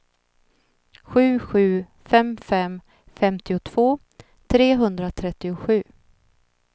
sju sju fem fem femtiotvå trehundratrettiosju